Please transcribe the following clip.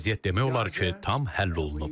Vəziyyət demək olar ki, tam həll olunub.